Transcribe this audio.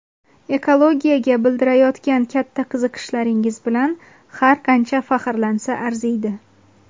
ekologiyaga bildirayotgan katta qiziqishlaringiz bilan har qancha faxrlansa arziydi!.